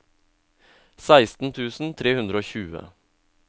seksten tusen tre hundre og tjue